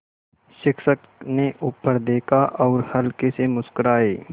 शिक्षक ने ऊपर देखा और हल्के से मुस्कराये